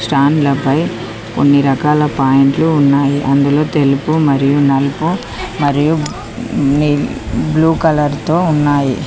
స్టాండ్ల పై కొన్ని రకాల పాయింట్లు ఉన్నాయి అందులో తెలుపు మరియు నలుపు మరియు నీలి బ్లూ కలర్ తో ఉన్నాయి.